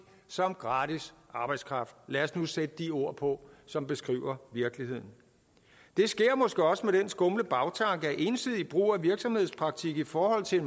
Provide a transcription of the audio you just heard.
som gratis arbejdskraft lad os nu sætte de ord på som beskriver virkeligheden det sker måske også med den skumle bagtanke at ensidig brug af virksomhedspraktik i forhold til